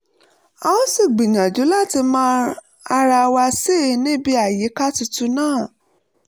a ó sì gbìyànjú láti mọ ara wa sí i níbi àyíká tuntun náà